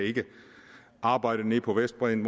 arbejde nede på vestbredden